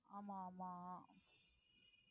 ஆமா ஆமா